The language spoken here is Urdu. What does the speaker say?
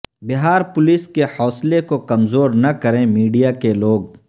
بہار پولیس کے حوصلے کو کمزور نہ کریں میڈیا کے لوگ